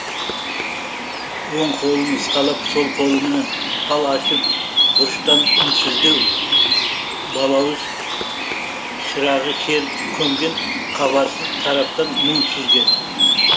оң қолын ысқалап сол қолмен пал ашып бұрыштан үнсіздеу балауыз шырағы шер көмген хабарсыз тараптан мұң сүзген